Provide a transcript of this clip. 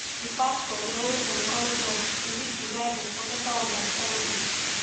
di pastor dey always encourage us to read di bible for better understanding